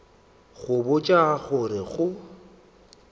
go botša go re go